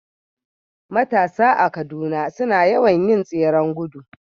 Matasa a Kaduna suna yawan yin tseren gudu